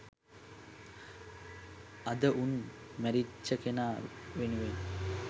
අද උන් මැරිච්ච කෙනා වෙනුවෙන්